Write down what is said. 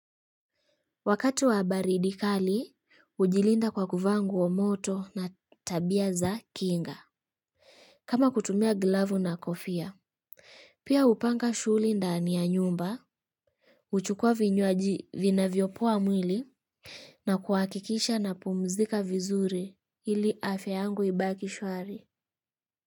Wakati wa baridi kali, hujilinda kwa kuvaa nguo moto na tabia za kinga. Kama kutumia glavu na kofia. Pia hupanga shuli ndani ya nyumba. Huchukua vinywaji vina vyopoa mwili na kuhakikisha napumzika vizuri ili afya yangu ibaki shwari.